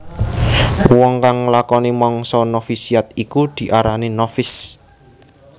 Uwong kang nglakoni mangsa novisiat iku diarani novis